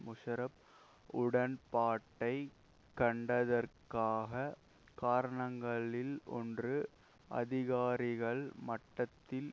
முஷராப் உடன்பாட்டை கண்டதற்காக காரணங்களில் ஒன்று அதிகாரிகள் மட்டத்தில்